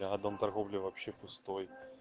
бля дом торговли вообще пустой